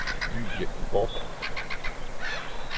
Lydia Bork